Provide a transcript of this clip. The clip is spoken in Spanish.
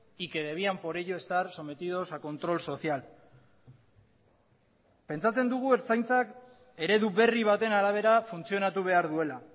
y que debían por ello estar sometidos a control social pentsatzen dugu ertzaintzak eredu berri baten arabera funtzionatu behar duela